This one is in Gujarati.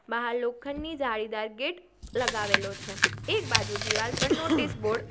બહાર લોખંડની જાળીદાર ગેટ લગાવેલો છે એક બાજુ દિવાલ પર નોટિસ બોર્ડ --